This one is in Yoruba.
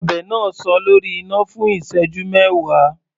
Ọbẹ̀ náà sọ lórí iná fún ìṣẹ́jú mẹwa.